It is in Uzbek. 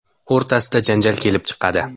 o‘rtasida janjal kelib chiqadi.